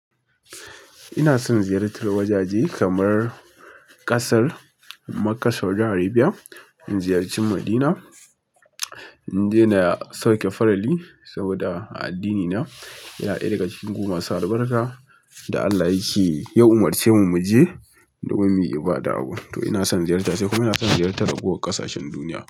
Ina son ziyartar wajaje kamar kasar Makka Saudiyya Arabiya, in ziyarci Madina. Inje na sauke farali saboda a addinina yana daya daga cikin gu masu albarka da Allah yace, ya umarce mu muje, kuma muyi ibada a gurin to ina son ziyarta sai kuma ina son ziyartar ragowar ƙasashen duniya.